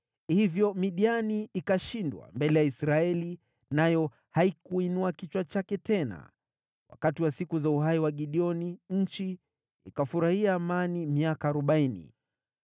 Hivyo Midiani ikashindwa mbele ya Israeli nayo haikuinua kichwa chake tena. Wakati wa siku za uhai wa Gideoni, nchi ikafurahia amani miaka arobaini.